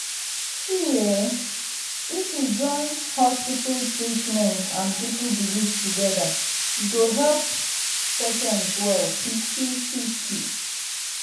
see[um]if we join hospital treatment and people belief together e go help patient well kwik-kwik.